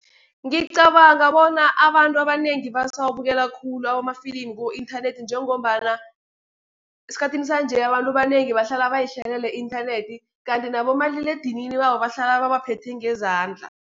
Ngicabanga bona abantu abanengi basawabukela khulu amafilimi ku-inthanethi, njengombana esikhathini sanje, abantu abanengi bahlala bayihlalele i-inthanethi, kanti nabomaliledinini babo bahlala babaphethe ngezandla.